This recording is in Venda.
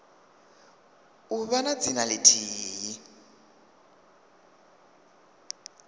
u vha na dzina lithihi